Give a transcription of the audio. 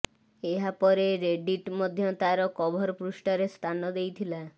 ଏହାପରେ ରେଡିଟ୍ ମଧ୍ୟ ତାର କଭର ପୃଷ୍ଠାରେ ସ୍ଥାନ ଦେଇଥିଲା